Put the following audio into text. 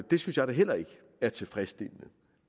det synes jeg da heller ikke er tilfredsstillende